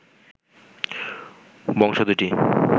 বংশ দুটি